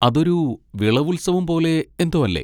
അതൊരു വിളവുത്സവം പോലെ എന്തോ അല്ലേ?